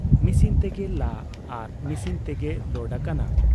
Machine ᱛᱮᱜᱮ ᱞᱟ ᱟᱨ ᱢᱤᱥᱤᱱ ᱛᱮᱜᱮ ᱞᱳᱰ ᱟᱠᱟᱱᱟ ᱾